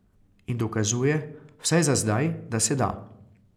In dokazuje, vsaj za zdaj, da se da.